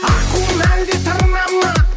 аққу ма әлде тырна ма